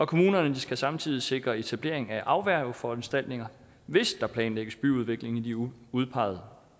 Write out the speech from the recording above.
kommunerne skal samtidig sikre etablering af afværgeforanstaltninger hvis der planlægges byudvikling i de udpegede